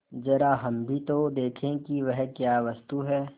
जरा हम भी तो देखें कि वह क्या वस्तु है